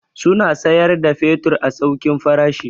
Suna siyar da fetur a saukin farashi.